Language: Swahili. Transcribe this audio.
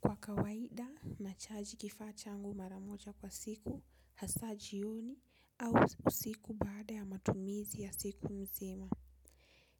Kwa kawaida, nachaji kifaa changu mara moja kwa siku, hasa jioni, au usiku baada ya matumizi ya siku nzima.